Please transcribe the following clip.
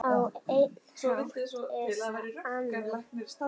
Á einn hátt eða annan.